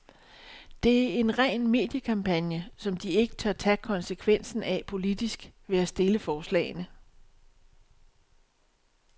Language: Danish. Det er en ren mediekampagne, som de ikke tør tage konsekvensen af politisk ved at stille forslagene.